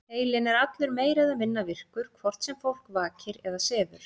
Heilinn er allur meira eða minna virkur, hvort sem fólk vakir eða sefur.